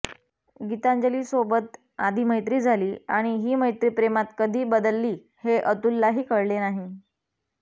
गीतांजलीसोबत आधी मैत्री झाली आणि ही मैत्री प्रेमात कधी बदलली हे अतुललाही कळले नाही